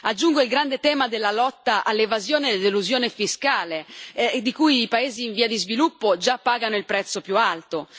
Aggiungo il grande tema della lotta all'evasione ed elusione fiscale, di cui i paesi in via di sviluppo già pagano il prezzo più alto.